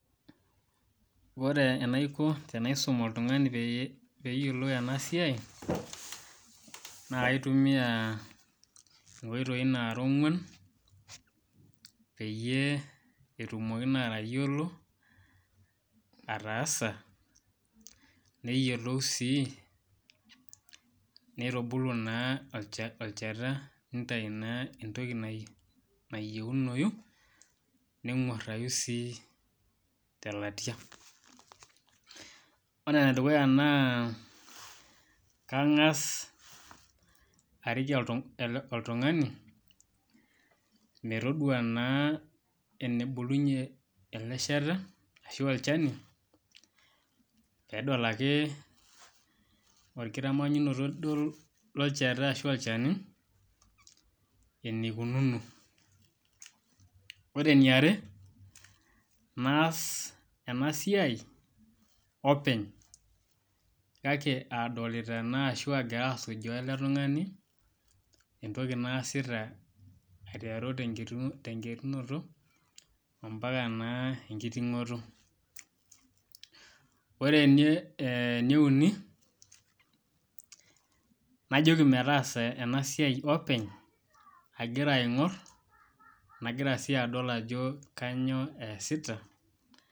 Ore enaiko tenaisum oltungani pee eyiolou ena siai naa kaitumia nkoitoi nara onguan peyie etumoki naa atayiolo ataasa neyiolou sii neitubulu naa olchata neitayu entoki nayieunoi nenguarayu sii telatia. Ore enedukuya kangas arik oltungani metodua naa nebulunyi ele shani peedol ake orkitamanyunoto lolchani ashua olchata, eneikukuno. Ore eniare naas ena siai openy kake aadolita ena ashua aagura asujas ele tungani entoki naasita aiteru tenkiterunoto ompaka naa enkitingoto. Ore eneuni najoki metaasa ena siai openy agira aingor nagira sii adol ajo kainyoo eesita